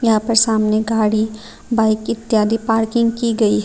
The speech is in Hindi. यहां पर सामने गाड़ी बाईक इत्यादि पार्किंग की गई है।